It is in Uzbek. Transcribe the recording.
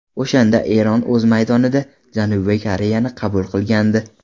O‘shanda Eron o‘z maydonida Janubiy Koreyani qabul qilgandi.